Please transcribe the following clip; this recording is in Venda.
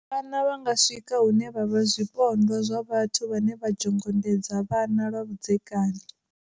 Vhana vha nga swika hune vha vha zwipondwa zwa vhathu vhane vha zhongondedza vhana lwa vhudzekani.